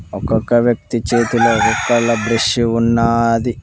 ఒక్కొక్క వ్యక్తి చేతిలో బ్రస్ ఉన్నాది.